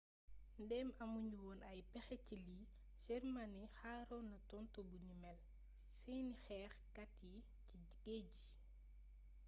ndém amu ñu woon ay péxé ci lii germany xaaronna tontu buni mél ci séni xééx kat yi ci géej gi